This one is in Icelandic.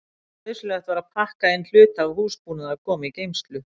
Nauðsynlegt var að pakka inn hluta af húsbúnaði og koma í geymslu.